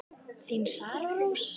Þín Sara Rós.